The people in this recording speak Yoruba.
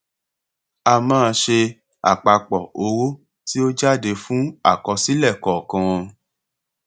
a máa ṣe àpapọ owó tí ó jáde fún àkọsílẹ kọọkan